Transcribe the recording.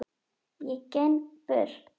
Ég geng burt.